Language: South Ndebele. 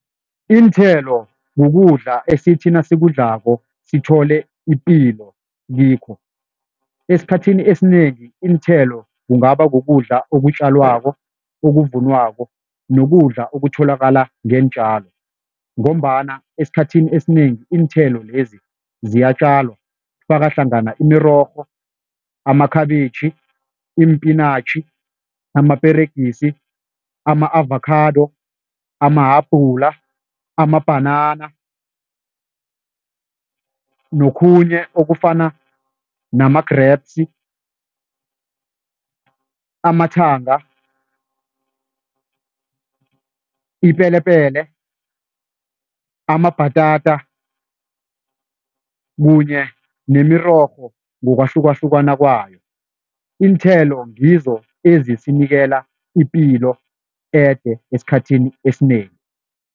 Iinthelo kukudla esithi nasikudlako sithole ipilo kikho. Esikhathini esinengi iinthelo kungaba kukudla okutjalwako, okuvunwako, nokudla okutholakala ngeentjalo ngombana esikhathini esinengi iinthelo lezi ziyatjalwa, kufaka hlangana imirorho, amakhabitjhi, iimpinatjhi, amaperegisi, ama-avakhado, amahabhula, amabhanana nokhunye okufana nama-grapes, amathanga, ipelepele, amabhatata kunye nemirorho ngokwahlukahlukana kwayo. Iinthelo ngizo ezisinikela ipilo ede esikhathini esinengi.